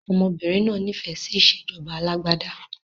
Ọmọbìnrin náà nifẹ si ìsèjọba alàgbàda